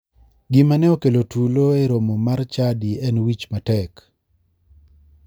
Gima ne okelo tulo e romo mar chadi en wich matek.